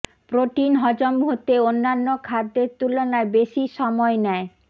protein হজম হতে অন্যান্য খাদ্যের তুলনায় বেশি সময় নেয়